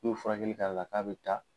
N'u ye furakɛli k'ale la k'a be taa